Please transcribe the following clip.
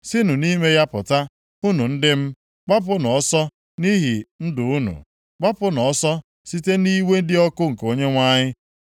“Sinụ nʼime ya pụta, unu ndị m! Gbapụnụ ọsọ nʼihi ndụ unu. Gbapụnụ ọsọ site nʼiwe dị ọkụ nke Onyenwe anyị.